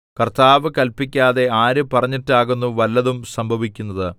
കർത്താവ് കല്പിക്കാതെ ആര് പറഞ്ഞിട്ടാകുന്നു വല്ലതും സംഭവിക്കുന്നത്